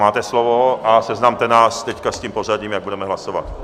Máte slovo a seznamte nás teď s tím pořadím, jak budeme hlasovat.